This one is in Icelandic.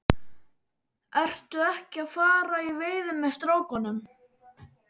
Ertu ekki að fara í veiði með strákunum?